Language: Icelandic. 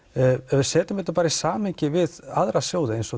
ef við setjum þetta í samhengi við aðra sjóði eins og